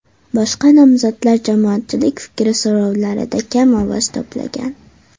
Boshqa nomzodlar jamoatchilik fikri so‘rovlarida kam ovoz to‘plagan.